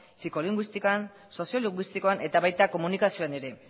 psikolinguistikan soziolinguistikoan eta baita komunikazioan ere